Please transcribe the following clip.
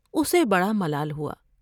اسے بڑا ملال ہوا ۔